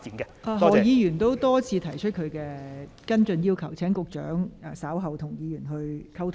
何君堯議員已多次重複他要求跟進的事宜，請局長稍後與何議員再作溝通。